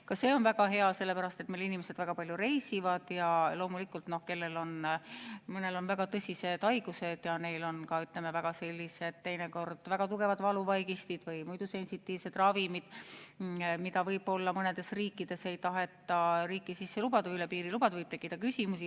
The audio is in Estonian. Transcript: Ka see on väga hea, sellepärast et meie inimesed väga palju reisivad ja loomulikult, kui kellelgi on väga tõsine haigus ja neil on teinekord ka väga tugevad valuvaigistid või muidu sensitiivsed ravimid, mida võib-olla mõnda riiki ei taheta üle piiri lubada, siis võib tekkida küsimusi.